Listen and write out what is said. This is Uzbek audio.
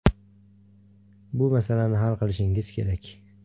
Bu masalani hal qilishingiz kerak”.